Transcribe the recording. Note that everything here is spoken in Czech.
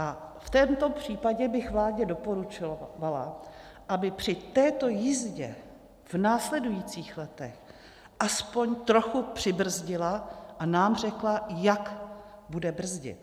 A v tomto případě bych vládě doporučovala, aby při této jízdě v následujících letech aspoň trochu přibrzdila a nám řekla, jak bude brzdit.